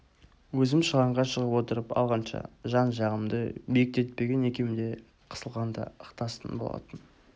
өзім шығанға шығып отырып алғанша жан-жағымды биіктетпеген екем де қысылғанда ықтасын болатын